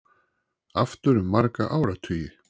Aftur um marga áratugi